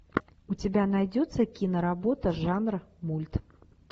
у тебя найдется киноработа жанра мульт